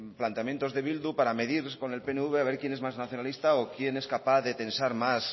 planteamientos de bildu para medirse con el pnv a ver quién es más nacionalista o quién es capaz de tensar más